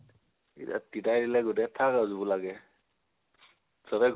এতিয়া তিতাই দিলে গোটেই, থাক আৰু জুপোলাকে। সবে